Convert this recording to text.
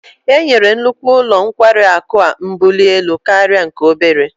Enyere nnukwu ụlọ nkwari akụ a mbuli elu karịa nke obere